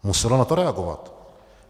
Muselo na to reagovat.